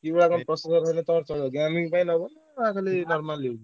Gaming ପାଇଁ ନବ ନା ଖାଲି normally ?